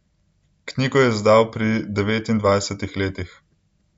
Knjigo je izdal pri devetnajstih letih.